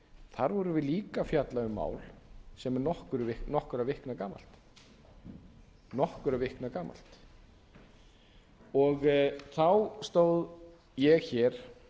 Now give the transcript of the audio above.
þar vorum við líka að fjalla um mál sem er nokkurra vikna gamalt þá stóð ég hér